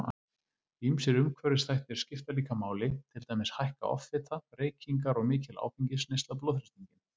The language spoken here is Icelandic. Ýmsir umhverfisþættir skipta líka máli, til dæmis hækka offita, reykingar og mikil áfengisneysla blóðþrýstinginn.